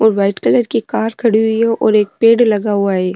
और white colour की car खड़ी हुई है और एक पेड़ लगा हुआ है।